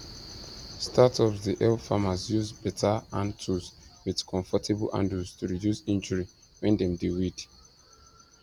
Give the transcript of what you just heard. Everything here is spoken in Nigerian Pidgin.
startups dey help farmers use better hand tools with comfortable handles to reduce injury when dem dey weed